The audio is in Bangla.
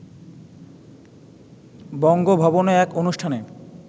বঙ্গভবনে এক অনুষ্ঠানে